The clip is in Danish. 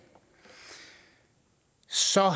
så er